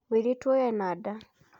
Mũirĩtu ũyũ ena nda.